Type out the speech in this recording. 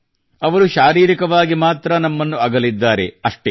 ಅವರು ಶಾರೀರಿಕವಾಗಿ ಮಾತ್ರ ನಮ್ಮನ್ನು ಅಗಲಿದ್ದಾರೆ ಅಷ್ಟೇ